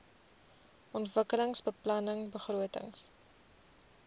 ontwikkelingsbeplanningbegrotings